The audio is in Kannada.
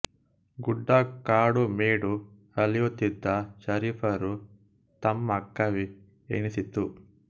ಗುಡ್ಡ ಕಾಡು ಮೇಡು ಅಲೆಯುತಿದ್ದ ಶರೀಫರು ತಮ್ಮ ಕವಿ ಎನಿಸಿತು